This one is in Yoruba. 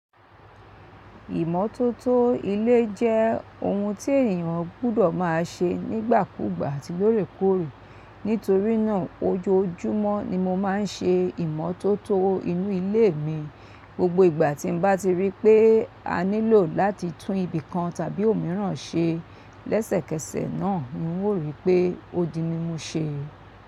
Ìmọ́tótó ilé jẹ́ ohun tí ènìyàn gbọ́dọ̀ má a ṣe nígbàkúgbà àti lóòrèkóòrè. Nítorí nàa ojoojúmọ́ ni mo máa n ṣe ìmọ́tótó inú ilé mi. Gbogbo ìgbà tí n bá ti rí pé a nílò láti tún ibìkan tàbí òmíràn ṣe, lẹ́sẹ̀kẹsẹ̀ náà ni n ó ríi pé odi mimu ṣe.